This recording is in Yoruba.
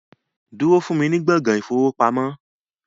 Wait for me in the banking hall